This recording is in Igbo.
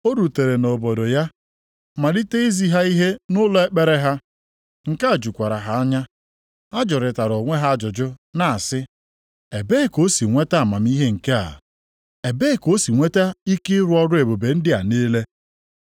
O rutere nʼobodo ya, malite izi ha ihe nʼụlọ ekpere ha, nke a jukwara ha anya. Ha jụrịtara onwe ha ajụjụ na-asị, “Ebee ka o si nweta amamihe a? Ebee ka o si nweta ike ịrụ ọrụ ebube ndị a niile?